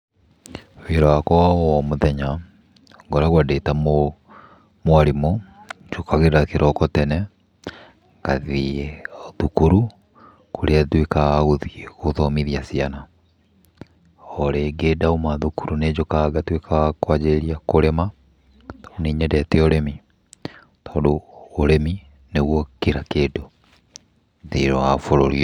Wĩra wakwa wa o mũthenya ngoragwo ndĩ ta mwarimũ. Njũkagĩra kĩroko tene ngathiĩ thukuru kũrĩa nduĩkaga wa gũthiĩ gũthomithia ciana. O rĩngĩ ndauma thukuru nĩ njũkaga ngatuĩka wa kwanjĩrĩria kũrĩma, tondũ nĩ nyendete ũrĩmi, tondũ ũrĩmi nĩguo kira kĩndũ thĩiniĩ wa bũrũri ũyũ.